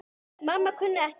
Mamma kunni ekkert.